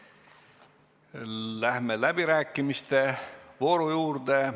Läheme läbirääkimiste juurde.